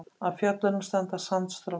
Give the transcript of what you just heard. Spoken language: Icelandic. Af fjöllunum standa sandstrókar.